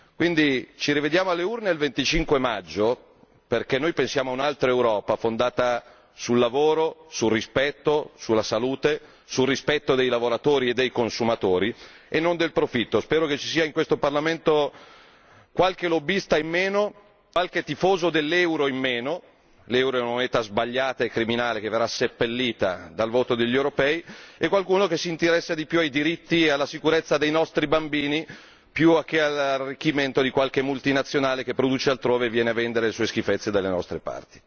Do quindi appuntamento alle urne il 25 maggio, perché noi pensiamo a un'altra Europa, fondata sul lavoro, sul rispetto, sulla salute, sul rispetto dei lavoratori e dei consumatori e non del profitto. Spero che in questo Parlamento ci sia qualche lobbista in meno, qualche tifoso dell'euro in meno l'euro è una moneta sbagliata e criminale che verrà seppellita dal voto degli europei e qualcuno che si interessa di più ai diritti e alla sicurezza dei nostri bambini piuttosto che all'arricchimento di qualche multinazionale che produce altrove e viene a vendere le sue schifezze dalle nostre parti.